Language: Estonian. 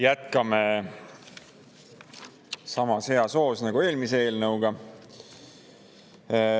Jätkame samas hea hoos nagu eelmise eelnõuga.